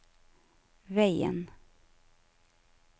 veien